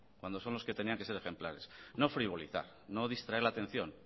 cuando son los que tenían que ser ejemplares no frivolizar no distraer la atención